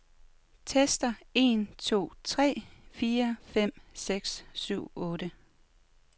Tester en to tre fire fem seks syv otte.